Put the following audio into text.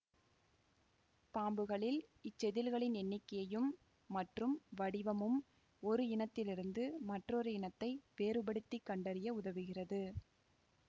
பாம்புகளில் இச்செதில்களின் எண்ணிக்கையும் மற்றும் வடிவமும் ஒரு இனத்திலிருந்து மற்றொரு இனத்தை வேறுபடுத்தி கண்டறிய உதவுகிறது